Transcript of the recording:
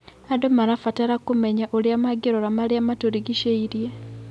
Andũ marabatra kũmenya ũrĩa mangĩrora marĩa matũrigicĩirie.